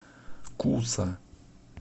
куса